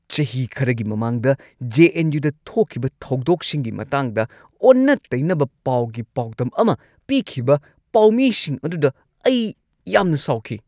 ꯆꯍꯤ ꯈꯔꯒꯤ ꯃꯃꯥꯡꯗ ꯖꯦ. ꯑꯦꯟ. ꯌꯨ. ꯗ ꯊꯣꯛꯈꯤꯕ ꯊꯧꯗꯣꯛꯁꯤꯡꯒꯤ ꯃꯇꯥꯡꯗ ꯑꯣꯟꯅ-ꯇꯩꯅꯕ ꯄꯥꯎꯒꯤ ꯄꯥꯎꯗꯝ ꯑꯃ ꯄꯤꯈꯤꯕ ꯄꯥꯎꯃꯤꯁꯤꯡ ꯑꯗꯨꯗ ꯑꯩ ꯌꯥꯝꯅ ꯁꯥꯎꯈꯤ꯫